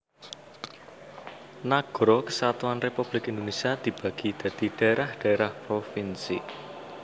Nagara Kesatuan Republik Indonésia dibagi dadi dhaérah dhaérah provinsi